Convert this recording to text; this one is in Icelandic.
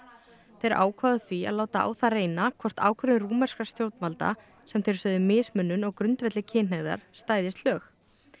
þeir ákváðu því að láta á það reyna hvort ákvörðun rúmenskra stjórnvalda sem þeir sögðu mismunun á grundvelli kynhneigðar stæðist lög